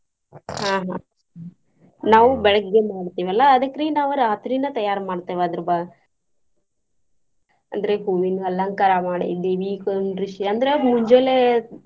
ಆಹ್ ಆಹ್ ನಾವ್ ಬೆಳಗ್ಗೆ ಮಾಡ್ತಿವಲಾ ಅದಕ್ರಿ ನಾವ್ ರಾತ್ರಿನ ತಯಾರ ಮಾಡ್ತೇವ ಅದರ್ ಬ~ ಅಂದ್ರೆ ಹೂವಿನ ಅಲಂಕಾರ ಮಾಡಿ ದೇವಿ ಕುಂಡ್ರಸಿ ಅಂದ್ರ ಮುಂಜೆಲೆ ಎದ್ದು.